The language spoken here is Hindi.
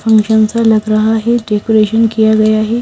फंक्शन सा लग रहा है डेकोरेशन किया गया है।